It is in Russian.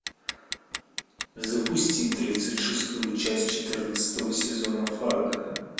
запусти тридцать шестую часть четырнадцатого сезона фарго